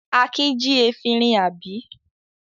Akin jí efirin, àbí?